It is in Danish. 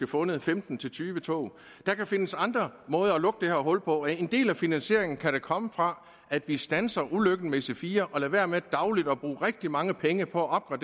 fundet femten til tyve tog der kan findes andre måder at lukke det her hul på og en del af finansieringen kan da komme fra at vi standser ulykken med ic4 og lader være med dagligt at bruge rigtig mange penge på at